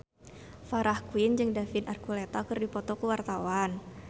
Farah Quinn jeung David Archuletta keur dipoto ku wartawan